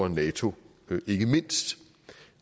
nato